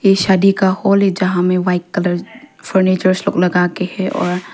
ये शादी का हॉल है जहां में व्हाईट कलर फर्नीचर्स लोग लगा के हैं और--